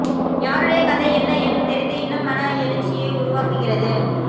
யாருடைய கதை என்ன என்று தெரிந்து இன்னும் மன எழுச்சியை உருவாக்குகிறது